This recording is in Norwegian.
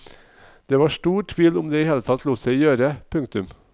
Det var stor tvil om det i det hele tatt lot seg gjøre. punktum